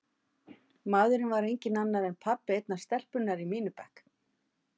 Maðurinn var enginn annar en pabbi einnar stelpunnar í mínum bekk.